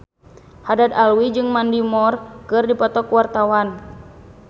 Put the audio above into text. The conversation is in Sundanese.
Haddad Alwi jeung Mandy Moore keur dipoto ku wartawan